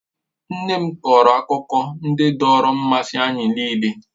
Nne m kọọrọ akụkọ ndị dọọrọ mmasị anyị nịịle.